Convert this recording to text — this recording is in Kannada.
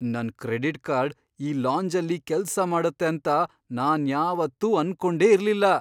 ನನ್ ಕ್ರೆಡಿಟ್ ಕಾರ್ಡ್ ಈ ಲಾಂಜಲ್ಲಿ ಕೆಲ್ಸ ಮಾಡತ್ತೆ ಅಂತ ನಾನ್ಯಾವತ್ತೂ ಅನ್ಕೊಂಡೇ ಇರ್ಲಿಲ್ಲ!